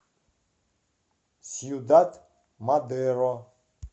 сьюдад мадеро